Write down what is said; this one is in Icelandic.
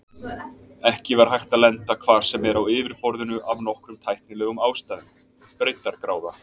Ekki var hægt að lenda hvar sem er á yfirborðinu af nokkrum tæknilegum ástæðum: Breiddargráða.